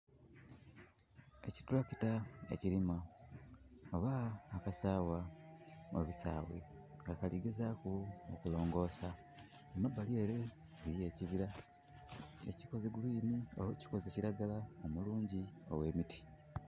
Ekitulakita ekirima oba akasagha obusaghe nga kali gezaku okulongosa. Kumbali ere eriyo ekibira nga kikoze green oba kikoze kiragala omulungi ogh'emiti.